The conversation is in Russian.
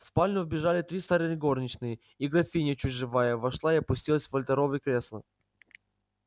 в спальню вбежали три старые горничные и графиня чуть живая вошла и опустилась в вольтеровы кресла